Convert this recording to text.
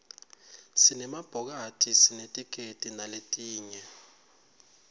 sinema bhokathisinetikedi naletinye